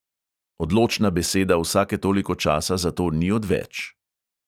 Odločna beseda vsake toliko časa zato ni odveč.